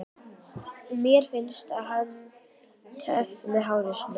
Mér finnst hann töff með hárið svona!